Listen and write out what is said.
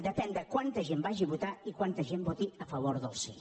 depèn de quanta gent vagi a votar i quanta gent voti a favor del sí